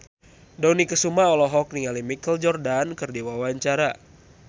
Dony Kesuma olohok ningali Michael Jordan keur diwawancara